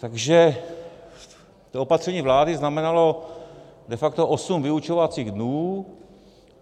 Takže to opatření vlády znamenalo de facto osm vyučovacích dnů.